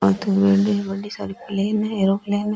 आगे बिल्डिंग बदी सारी प्लेन है एयरोप्लेन है।